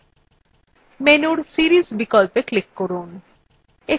menu series বিকল্পে click করুন